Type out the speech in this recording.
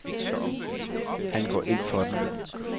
Han går ind for den.